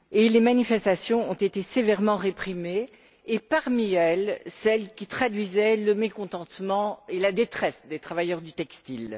Les manifestations ont été sévèrement réprimées, et parmi elles, celles qui traduisaient le mécontentement et la détresse des travailleurs du textile.